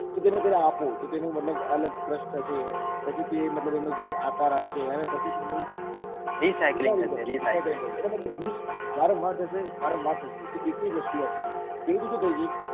તો તેને તમે આપો તો તેને મતલબ crush થશે પછી તે મતલબ એનો આકાર આપશે એનો મતલબ use વારંવાર વારંવાર થશે તો એક ની એક વસ્તુ વપરાશે પેલું તો શું થઇ જશે